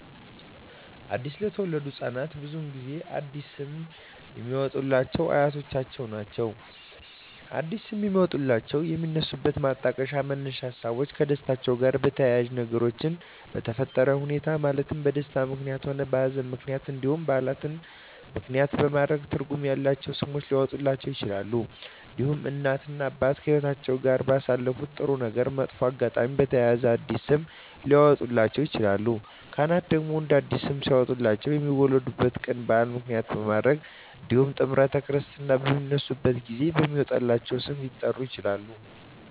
አዲስ ለተወለዱ ህፃናት ብዙውን ጊዜ አዲስ ስም የሚያወጡሏቸው አያቶቻቸውን ነው አዲስ ስም የሚያወጧላቸው የሚነሱበት ማጣቀሻ መነሻ ሀሳቦች ከደስታቸው ጋር በተያያዘ በነገሮች በተፈጠረ ሁኔታዎች ማለትም በደስታም ምክንያትም ሆነ በሀዘንም ምክንያት እንዲሁም በዓላትን ምክንያትም በማድረግ ትርጉም ያላቸው ስሞች ሊያወጡላቸው ይችላሉ። እንዲሁም እናት እና አባት ከህይወትአቸው ጋር ባሳለፉት ጥሩ እና መጥፎ አጋጣሚ በተያያዘ አዲስ ስም ሊያወጡላቸው ይችላሉ። ካህናት ደግሞ አዲስ ስም ሊያወጡላቸው የሚወለዱበት ቀን በዓል ምክንያት በማድረግ እንዲሁም ጥምረተ ክርስትና በሚነሱበት ጊዜ በሚወጣላቸው ስም ሊጠሩ ይችላሉ።